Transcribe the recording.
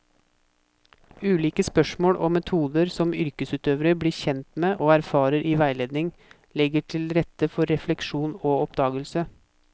Ulike spørsmål og metoder som yrkesutøverne blir kjent med og erfarer i veiledning, legger til rette for refleksjon og oppdagelse.